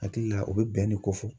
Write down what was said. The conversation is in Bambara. Hakili la o bɛ bɛn ne kofɔ.